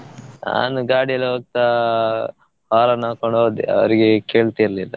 ಅವನು ಗಾಡಿಯಲ್ಲಿ ಹೋಗ್ತಾ follow ಮಾಡ್ಕೊಂಡು ಹೋದೆ ಅವರಿಗೆ ಕೇಳ್ತ ಇರ್ಲಿಲ್ಲ.